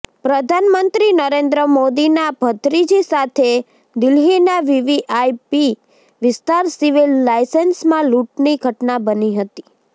પ્રધાનમંત્રી નરેન્દ્ર મોદીના ભત્રીજી સાથે દિલ્હીના વીવીઆઇપી વિસ્તાર સિવિલ લાઇન્સમાં લૂંટની ઘટના બની હતી